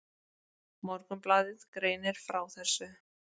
Morgunblaðið greinir frá þessu.